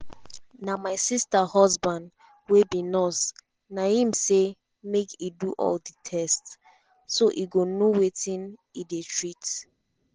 na my sister husband wey be nurse na im say make e do all tests so e go know wetin e dey treat.